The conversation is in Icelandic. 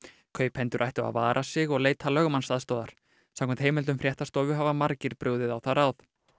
kaupendur ættu að vara sig og leita lögmannsaðstoðar samkvæmt heimildum fréttastofu hafa margir brugðið á það ráð